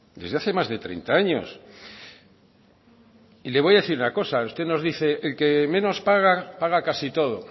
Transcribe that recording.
desde hace más de treinta años y le voy a decir una cosa usted nos dice que el que menos paga paga casi todo